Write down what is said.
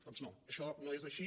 doncs no això no és així